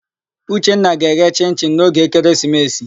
Uchenna ga-eghe chịn-chịn n'oge ekeresimesi.